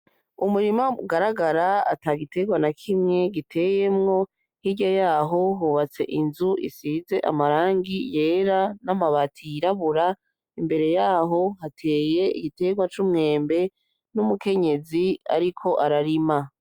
Umurima ugaragara ata giterwa na kimwe uteyemwo, hirya yaho hubatse inzu ifise irangi ryera namabati yirabura, imbere yaho hari igiti cumwembe n'umukenyezi ariko ararima